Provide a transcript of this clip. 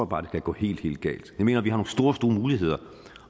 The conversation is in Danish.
bare at det kan gå helt helt galt jeg mener at vi har nogle store store muligheder